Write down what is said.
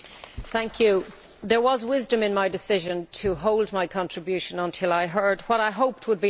Mr President, there was wisdom in my decision to hold back my contribution until I heard what I hoped would be answers.